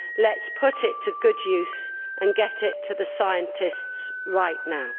Let us put it to good use and get it to the scientists right now.